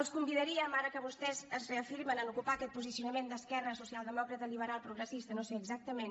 els convidaríem ara que vostès es reafirmen en ocupar aquest posicionament d’esquerra socialdemòcrata liberal progressista no sé exactament